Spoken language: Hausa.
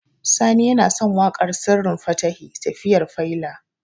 Sani yana son waƙar Sirrin Fatahi "Tafiyar Faila".